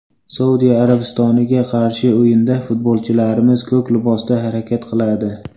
Saudiya Arabistoniga qarshi o‘yinda futbolchilarimiz ko‘k libosda harakat qiladi.